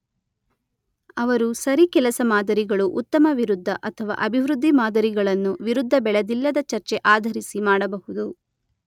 ಅವರು ಸರಿ ಕೆಲಸ ಮಾದರಿಗಳು ಉತ್ತಮ ವಿರುದ್ಧ ಅಥವಾ ಅಭಿವೃದ್ಧಿ ಮಾದರಿಗಳನ್ನು ವಿರುದ್ಧ ಬೆಳೆದಿಲ್ಲದ ಚರ್ಚೆ ಆಧರಿಸಿ ಮಾಡಬಹುದು.